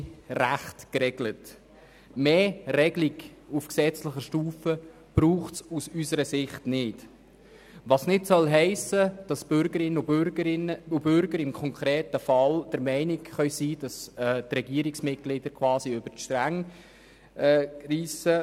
Eine weitergehende Regelung auf gesetzlicher Stufe braucht es aus unserer Sicht nicht, was nicht heissen soll, dass die Bürgerinnen und Bürger im konkreten Fall nicht der Meinung sein können, dass die Regierungsmitglieder über die Stränge schlagen.